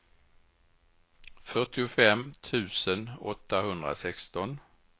fyrtiofem tusen åttahundrasexton